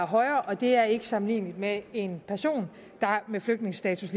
højere og det er ikke sammenligneligt med en person med flygtningestatus